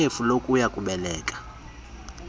ikhefu lokuya kubeleka